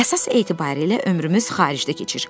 Əsas etibarilə ömrümüz xaricdə keçir.